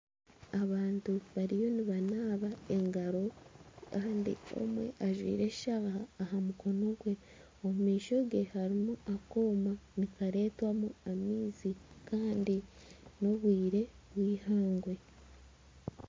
Abantu bariyo nibanaaba engaro kandi omwe ajwaire eshaaha aha mukono gwe. Omu maisho ge harimu akooma nikareetwamu amaizi. Kandi n'obwire bw'eihangwe.